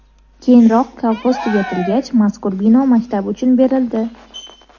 Keyinroq kolxoz tugatilgach, mazkur bino maktab uchun berildi.